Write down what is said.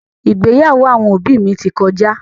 ìgbéyàwó àwọn òbí mi ti kọjá.